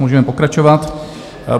Můžeme pokračovat.